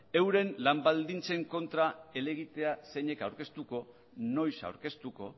euren lan baldintzen kontra helegitea zeinek aurkeztuko noiz aurkeztuko